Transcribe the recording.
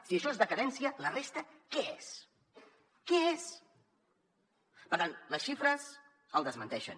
si això és decadència la resta què és què és per tant les xifres el desmenteixen